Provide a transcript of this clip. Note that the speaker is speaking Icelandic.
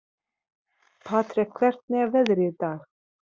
Patrek, hvernig er veðrið í dag?